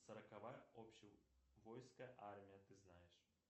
сороковая общевойсковая армия ты знаешь